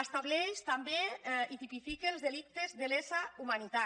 estableix també i tipifica els delictes de lesa humanitat